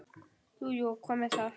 Jú, og hvað með það?